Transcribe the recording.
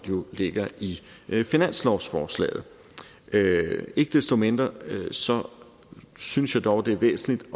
ligger i finanslovsforslaget ikke desto mindre synes jeg dog det er væsentligt